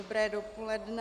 Dobré dopoledne.